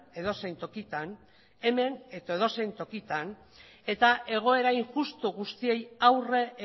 edozein tokitan hemen edo edozein tokitan eta egoera injustu guztiei aurre